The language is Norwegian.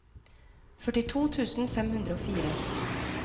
førtito tusen fem hundre og fire